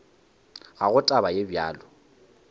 ga go taba ye bjalo